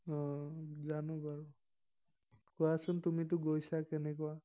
অ, জানো বাৰু। কোৱাচোন, তুমিতো গৈছা কেনেকুৱা?